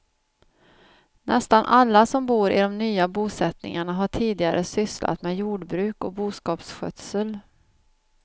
Nästan alla som bor i de nya bosättningarna har tidigare sysslat med jordbruk och boskapsskötsel.